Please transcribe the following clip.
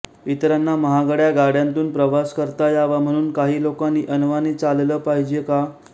इतरांना महागड्या गाड्यांतून प्रवास करता यावा म्हणून काही लोकांनी अनवाणी चाललं पाहिजे का